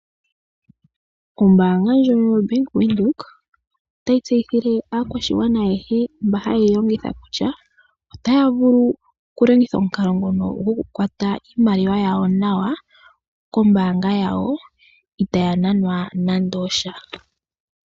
Ombaanga ndjono yo Bank Windhoek otayisteyithile aakwashigwana ayehee mba hayeyilongitha kutyaa, otaavulu kulongitha omukalo ngono gokukwata iimaliwa yawo nawa kombaanga yawo itaayananwa nande osha.